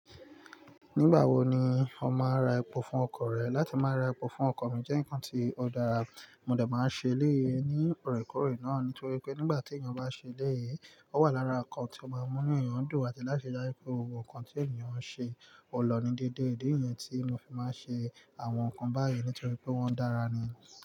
Nígbà wo ni o máa n ra epo fún ọkọ̀ rẹ? Látí má ra epo fún ọkọ̀ mí jẹ́ ǹkan tí ó dára, mó dà máa ń ṣe léye ní ọ̀rẹ́kọ̀rè náà nítorí pé nígbà tí èèyàn bá ṣe eléyi, ó wà lára ǹkan tí ó máa mú nu èèyàn dùn àti láti ṣe já pé ohun kan tí èèyàn ń ṣe ọ lọ́ ni déédéé. Idi niyẹn tí mo fi máa ń ṣe àwọn nǹkan báyìí nítorí pé wọ́n dára ni.